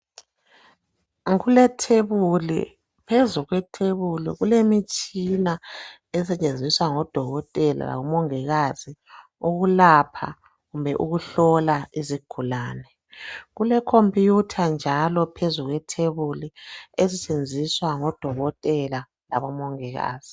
Kulethebuli phezu kwethebuli kulemitshina esetshenziswa ngoDokotela lomongikazi ukulapha kumbe ukuhlola izigulane. Kulekhompuyitha njalo phezu kwethebuli esetshenziswa ngoDokotela labomongikazi.